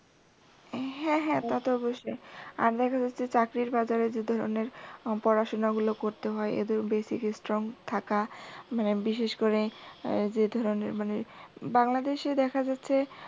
হ্যাঁ হ্যাঁ তা তো অবশ্যই। আগের ঐযে চাকরির বাজারে যে ধরনের পড়াশুনাগুলো করতে হয় এত basic strong থাকা মানে বিশেষ করে যে ধরনের মানে বাংলাদেশে দেখা যাচ্ছে